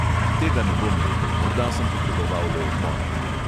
Tega ne bom rekel, morda sem potreboval le odmor.